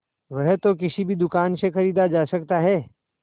वह तो किसी भी दुकान से खरीदा जा सकता है